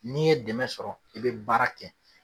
N'i ye dɛmɛ sɔrɔ i bɛ baara kɛ.